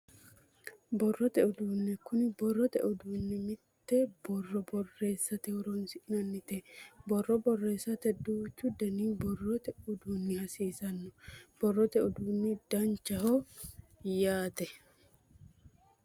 Borrote uduunne kuni borrote uduunni mitte borro borreessate horonsi'nannite borro borreessate duuchu danihu borrote uduunni hasiisanno borrote uduunni danchaho yaate